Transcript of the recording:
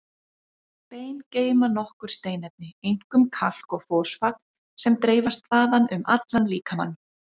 Bein geyma nokkur steinefni, einkum kalk og fosfat, sem dreifast þaðan um allan líkamann.